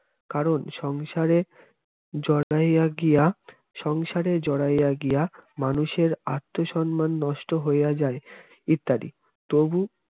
কারণ সংসারে জড়াইয়া গিয়া সংসারে জড়াইয়া গিয়া মানুষের আত্মসম্মান নষ্ট হইয়া যায় ইত্যাদি তবু